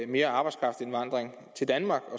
mere arbejdskraftindvandring til danmark og